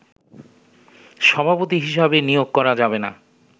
সভাপতি হিসেবে নিয়োগ করা যাবেনা